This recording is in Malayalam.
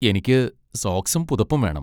എനിക്ക് സോക്സും പുതപ്പും വേണം.